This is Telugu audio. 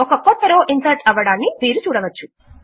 ఒక క్రొత్త రో ఇన్సర్ట్ అవ్వడమును మీరు చూడవచ్చు